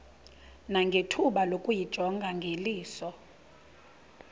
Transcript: nangethuba lokuyijonga ngeliso